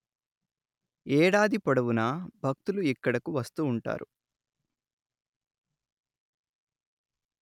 ఏడాది పొడవునా భక్తులు ఇక్కడకు వస్తుంటారు